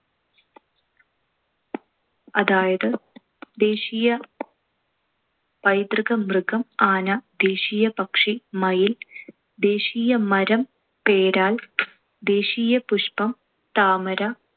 അതായത് ദേശീയ പൈതൃക മൃഗം ആന. ദേശീയ പക്ഷി മയിൽ. ദേശീയ മരം പേരാൽ. ദേശീയ പുഷ്‌പം താമര.